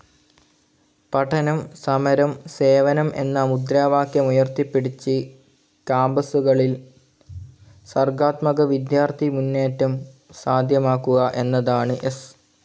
പഠനം, സമരം, സേവനം എന്ന മുദ്രാവാക്യമുയർത്തിപ്പിടിച്ച് കാമ്പസുകളിൽ സർഗാത്മക വിദ്യാർഥി മുന്നേറ്റം സാധ്യമാക്കുക എന്നതാണ് എസ്.